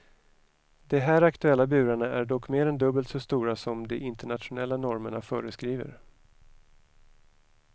De här aktuella burarna är dock mer än dubbelt så stora som de internationella normerna föreskriver.